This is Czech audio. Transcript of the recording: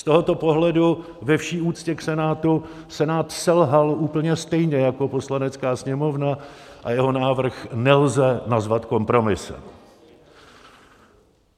Z tohoto pohledu, ve vší úctě k Senátu, Senát selhal úplně stejně jako Poslanecká sněmovna a jeho návrh nelze nazvat kompromisem.